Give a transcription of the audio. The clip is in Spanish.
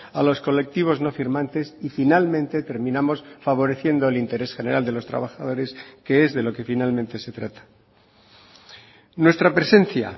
a los colectivos no firmantes y finalmente terminamos favoreciendo el interés general de los trabajadores que es de lo que finalmente se trata nuestra presencia